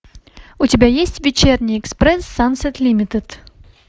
у тебя есть вечерний экспресс сансет лимитед